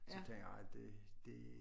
Så tænkte jeg ej det det